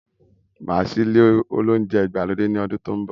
Máa ṣí ilé oúnjẹ ìgbàlódé ní ọdún tó n bọ